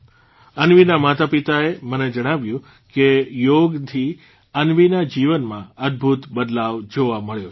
અન્વીના માતાપિતાએ મને જણાવ્યું કે યોગથી અન્વીના જીવનમાં અદભૂત બદલાવ જોવા મળ્યો છે